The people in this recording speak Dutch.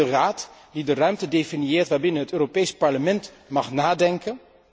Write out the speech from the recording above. Is het de Raad die de ruimte definieert waarbinnen het Europees Parlement mag nadenken?